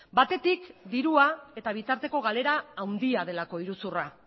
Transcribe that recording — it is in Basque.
batetik dirua eta bitarteko galera handia delako iruzurra